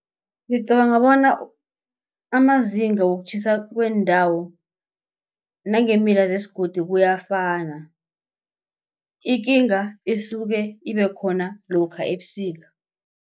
Ngicabanga bona amazinga wokutjhisa kwendawo nangemila zesigodi kuyafana ikinga isuke ibekhona lokha ebusika.